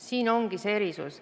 Siin ongi see erisus.